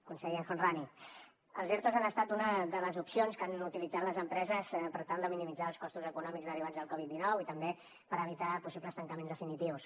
conseller el homrani els ertos han estat una de les opcions que han utilitzat les empreses per tal de minimitzar els costos econòmics derivats del covid dinou i també per evitar possibles tancaments definitius